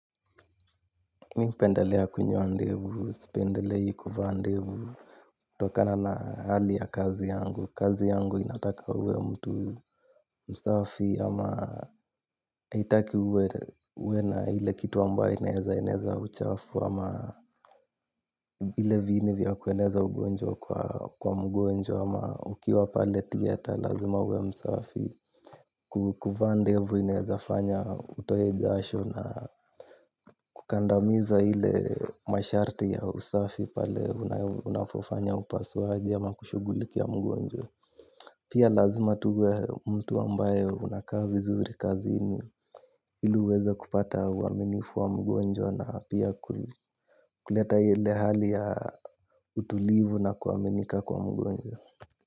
Mimi hupendelea kunyoa ndevu, sipendelei kuvaa ndevu kutokana na hali ya kazi yangu, kazi yangu inataka uwe mtu msafi ama haitaki uwe na ile kitu ambayo inaeza inaeza uchafu ama ile viini vya kueneza ugonjwa kwa mgonjwa ama ukiwa pale thiyeta lazima uwe Msafi. Kukuvaa ndevu inawezafanya utoe jasho na kukandamiza ile masharti ya usafi pale unafofanya upasuaji ama kushughulikia mgonjwa. Pia lazima tu uwe mtu ambaye unakaa vizuri kazini ili uweze kupata uaminifu wa mgonjwa na pia ku kuleta ile hali ya utulivu na kuaminika kwa mgonjwa.